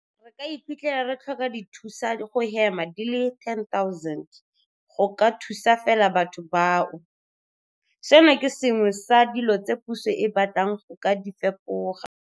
Re ka iphitlhela re tlhoka dithusa go hema di le 10 000 go ka thusa fela batho bao. Seno ke se sengwe sa dilo tse puso e batlang go ka di fapoga.